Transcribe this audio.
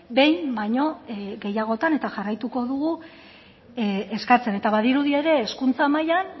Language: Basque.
behin baino gehiagotan eta jarraituko dugu eskatzen eta badirudi ere hezkuntza mailan